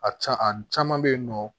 A can a caman bɛ yen nɔ